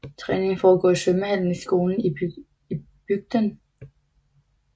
Træningen foregår i svømmehallen i skolen i bygden